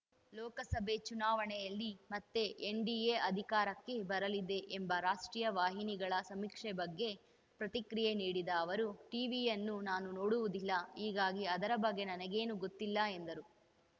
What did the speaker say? ಲೋಕಸಭೆ ಚುನಾವಣೆಯಲ್ಲಿ ಮತ್ತೆ ಎನ್‌ಡಿಎ ಅಧಿಕಾರಕ್ಕೆ ಬರಲಿದೆ ಎಂಬ ರಾಷ್ಟ್ರೀಯ ವಾಹಿನಿಗಳ ಸಮೀಕ್ಷೆ ಬಗ್ಗೆ ಪ್ರತಿಕ್ರಿಯೆ ನೀಡಿದ ಅವರು ಟೀವಿಯನ್ನು ನಾನು ನೋಡುವುದಿಲ್ಲ ಹೀಗಾಗಿ ಅದರ ಬಗ್ಗೆ ನನಗೇನೂ ಗೊತ್ತಿಲ್ಲ ಎಂದರು